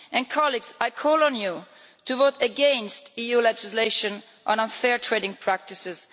Colleagues, I call on you to vote against EU legislation on unfair trading practices.